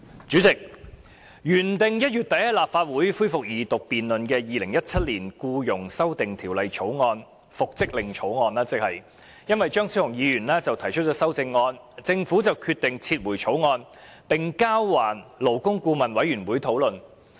主席，原定於1月底提交立法會恢復二讀辯論的《2017年僱傭條例草案》，因為張超雄議員提出修正案而被政府抽起，交還勞工顧問委員會討論。